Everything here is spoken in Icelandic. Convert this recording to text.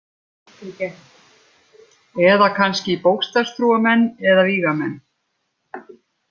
Eða kannski bókstafstrúarmenn eða vígamenn.